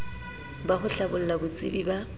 ba ho hlabolla botsebi ba